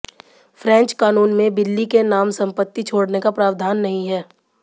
French कानून में बिल्ली के नाम संपत्ति छोड़ने का प्रवाधान नहीं है